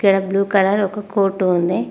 ఇక్కడ blue colour ఒక coat ఉంది.